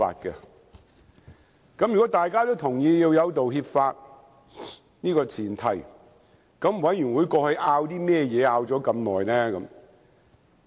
在大家也同意有道歉法這前提下，法案委員會還花這麼長時間爭議甚麼呢？